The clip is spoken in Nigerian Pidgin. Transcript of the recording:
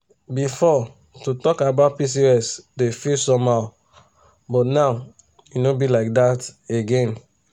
before to talk about pcos dey feel somehow but now e no be like that again.